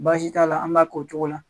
Baasi t'a la an b'a k'o cogo la.